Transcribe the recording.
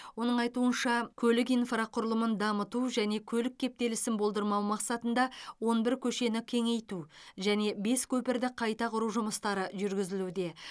оның айтуынша көлік инфрақұрылымын дамыту және көлік кептелісін болдырмау мақсатында он бір көшені кеңейту және бес көпірді қайта құру жұмыстары жүргізілуде